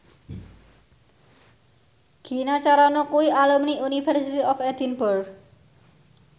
Gina Carano kuwi alumni University of Edinburgh